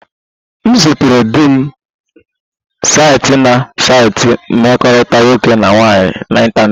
M zutere di m site na saịtị mkpakọrịta nwoke na nwaanyị n'ịntanetị